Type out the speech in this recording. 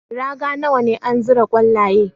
Raga nawa ne an zira kwallaye?